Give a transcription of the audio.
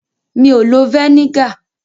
Mi ò lo vẹ́nígà.